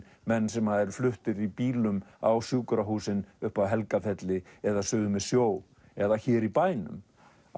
menn sem eru fluttir í bílum á sjúkrahúsin upp að Helgafelli eða suður með sjó eða hér í bænum